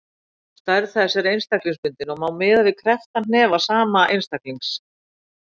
Stærð þess er einstaklingsbundin og má miða við krepptan hnefa sama einstaklings.